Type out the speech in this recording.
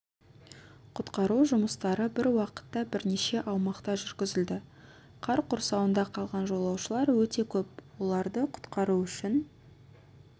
құтқару жұмыстары бір уақытта бірнеше аумақта жүргізілді қар құрсауында қалған жолаушылар өте көп оларды құтқару үшін